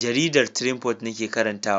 Jaridar Triumph nake karantawa.